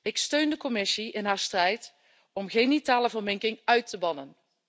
Ik steun de Commissie in haar strijd om genitale verminking uit te bannen.